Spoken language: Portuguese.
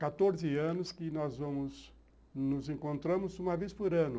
Há quatorze anos que nós vamos, nos encontramos uma vez por ano.